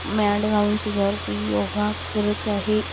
Mat घालून त्याच्यावरती योगा करत आहे.